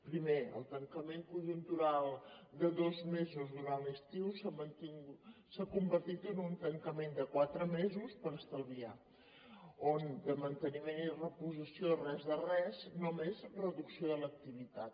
primer el tancament conjuntural de dos mesos durant l’estiu s’ha convertit en un tancament de quatre mesos per estalviar on de manteniment i reposició res de res només reducció de l’activitat